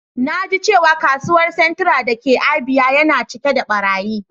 Na ji cewa kasuwan Centra da ka Abia yana cike da barayi.